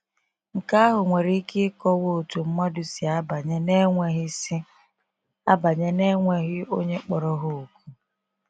Nke ahụ nwere ike ịkọwa otú mmadụ si abanye n’enweghị si abanye n’enweghị onye kpọrọ ha òkù.